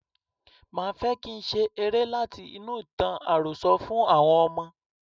Máa fẹ́ kín ṣe eré láti inú ìtàn àròsọ fún àwọn ọmọ.